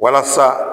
Walasa